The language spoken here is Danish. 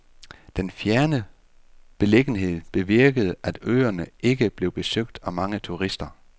Den fjerne beliggenhed bevirkede, at øerne ikke blev besøgt af mange turister.